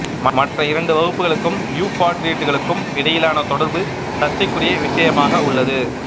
மற்ற இரண்டு வகுப்புகளுக்கும் யூப்பாட்ரிட்டுகளுக்கும் இடையிலான தொடர்பு சர்ச்சைக்குரிய விஷயமாக உள்ளது